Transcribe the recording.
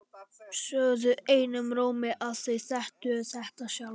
Sögðu einum rómi að þau þekktu þetta sjálf.